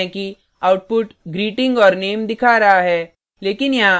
हम देख सकते हैं कि output greeting और name दिखा रहा है